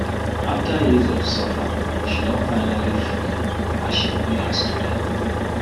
after years of suffer she don finally free as she pay her student loan